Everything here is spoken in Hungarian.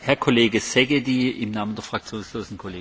Tisztelt elnök úr, tisztelt képviselőtársaim!